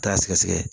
Taa sɛgɛsɛgɛ